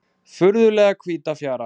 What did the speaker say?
Furðulega hvíta fjara.